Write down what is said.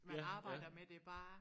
Man arbejder med det bare